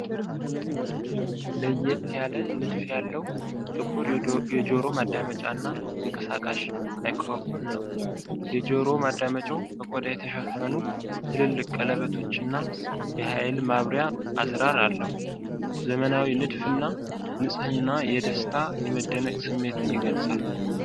ለየት ያለ ንድፍ ያለው ጥቁር የጆሮ ማዳመጫና ተንቀሳቃሽ ማይክሮፎን ነው። የጆሮ ማዳመጫው በቆዳ የተሸፈኑ ትልልቅ ቀለበቶችና፣ የኃይል ማብሪያ አዝራር አለው። ዘመናዊው ንድፍ እና ንጽህና የደስታና የመደነቅ ስሜትን ይገልፃል።